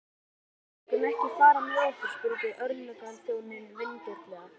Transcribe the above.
Vill skordýrafræðingurinn ekki fá far með okkur? spurði yfirlögregluþjónninn vingjarnlega.